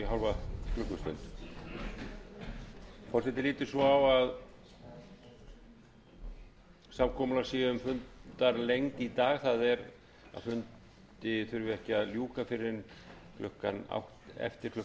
forseti lítur svo á að samkomulag sé um fundarlengd í dag það er að fundi þurfi ekki að ljúka fyrr en eftir klukkan